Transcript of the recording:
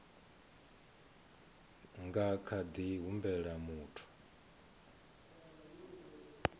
nga kha ḓi humbela muthu